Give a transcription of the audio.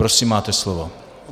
Prosím, máte slovo.